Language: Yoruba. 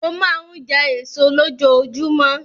Mo máa ń jẹ èso lójoojúmọ́.